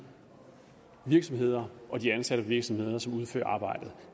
virksomheder og de ansatte i virksomhederne som udfører arbejdet